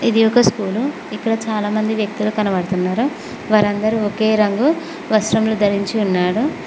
ఇది ఒక స్కూలు ఇక్కడ చాలామంది వ్యక్తులు కనవడుతున్నారు వారందరూ ఒకే రంగు వస్త్రములు ధరించి ఉన్నాడు.